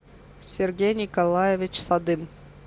сергей николаевич садым